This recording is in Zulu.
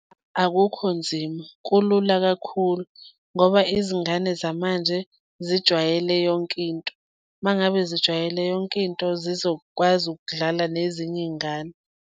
Akukho nzima, kulula kakhulu ngoba izingane zamanje zijwayele yonkinto, uma ngabe zijwayele yonkinto, zizokwazi ukudlala nezinye iy'ngane.